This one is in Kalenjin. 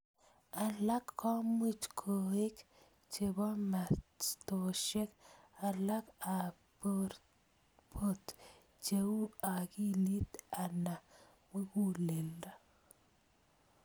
Alak ko much koek chebo mastoshek alak ap port, che u akkilit ana muguleldo.